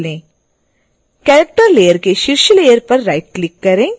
character layer की शीर्ष layer पर राइटक्लिक करें